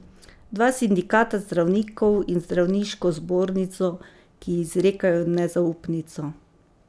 Dva sindikata zdravnikov in zdravniško zbornico, ki ji izrekajo nezaupnico.